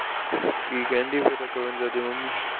ਕੀ ਕਹਿੰਦੀ ਫਿਰ ਅਕਵਿਂਦਰ ਦੀ ਮੰਮੀ